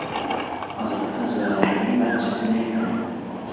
Oila a’zolarimning barchasi men bilan.